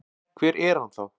Hver er hann þá?